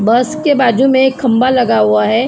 बस के बाजू में खंभा लगा हुआ है।